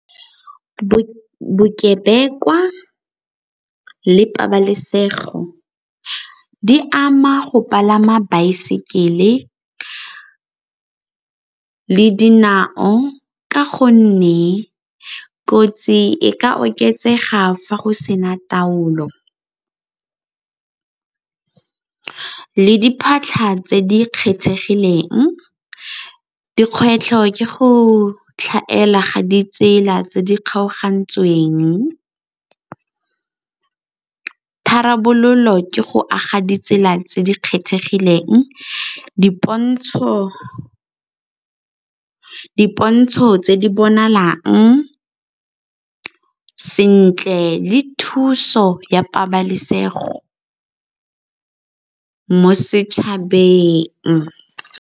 Bokebekwa le pabalesego di ama go palama baesekele le dinao ka gonne kotsi e ka oketsega fa go sena taolo, le diphatlha tse di kgethegileng. Dikgwetlho ke go tlhaela ga ditsela tse di kgaogantsweng, tharabololo ke go aga ditsela tse di kgethegileng, dipontsho tse di bonalang sentle le thuso ya pabalesego mo setšhabeng.